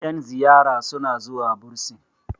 yan ziyara suna zuwa bursin